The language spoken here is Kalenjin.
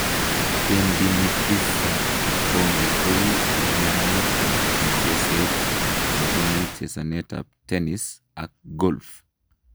Tendinitis ab kipkongi ko umianet ab mucheset nebunu chesanetab tennis ak golf